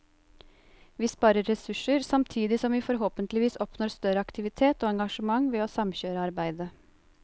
Vi sparer ressurser, samtidig som vi forhåpentligvis oppnår større aktivitet og engasjement ved å samkjøre arbeidet.